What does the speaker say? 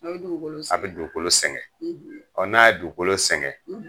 A bɛ dukolo sɛgɛn. A bɛ dukolo sɛgɛn. n'a ye sɛgɛn